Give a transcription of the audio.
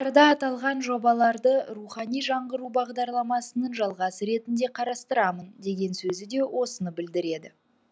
аталған жобаларды рухани жаңғыру бағдарламасының жалғасы ретінде қарастырамын деген сөзі де осыны білдіреді